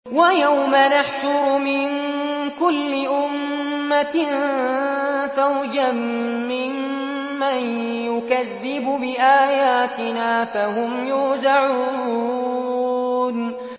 وَيَوْمَ نَحْشُرُ مِن كُلِّ أُمَّةٍ فَوْجًا مِّمَّن يُكَذِّبُ بِآيَاتِنَا فَهُمْ يُوزَعُونَ